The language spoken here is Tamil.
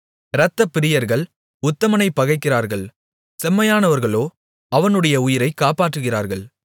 இரத்தப்பிரியர்கள் உத்தமனைப் பகைக்கிறார்கள் செம்மையானவர்களோ அவனுடைய உயிரைக் காப்பாற்றுகிறார்கள்